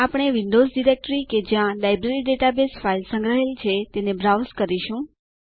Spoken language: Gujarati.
આપણે વિન્ડોઝ ડાયરેક્ટરી કે જ્યાં લાઈબ્રેરી ડેટાબેઝ ફાઈલ સંગ્રહાયેલ છે તે બ્રાઉઝ કરીશું